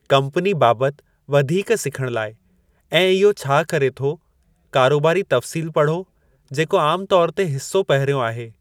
Company बाबति वधीक सिखणु लाइ ऐं इहो छा करे थो, कारोबारी तफ़सील पढ़ो, जेको आमु तौर ते हिसो पहिरियों आहे।